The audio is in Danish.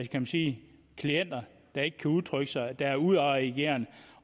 kan sige klienter der ikke kan udtrykke sig der er udadreagerende